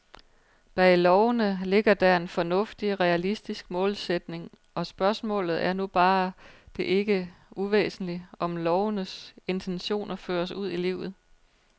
Bag lovene ligger der en fornuftig, realistisk målsætning, og spørgsmålet er nu bare det ikke uvæsentlige, om lovenes intentioner føres ud i livet.